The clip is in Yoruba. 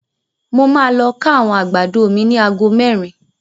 Mo ma lọ ká àwọn àgbàdo mi ni ago merin.